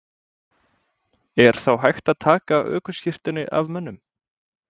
Er þá hægt að taka ökuskírteini af mönnum?